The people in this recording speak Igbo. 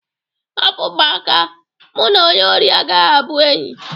Hapụ m aka, mụ n'onye ori agaghị abụ enyi!